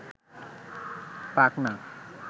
পাক না